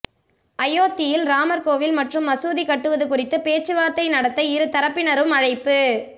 அயோத்தியில் ராமர் கோவில் மற்றும் மசூதி கட்டுவது குறித்து பேச்சுவார்த்தை நடத்த இரு தரப்பினரும் அழைப்பு